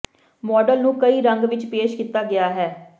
model ਨੂੰ ਕਈ ਰੰਗ ਵਿੱਚ ਪੇਸ਼ ਕੀਤਾ ਗਿਆ ਹੈ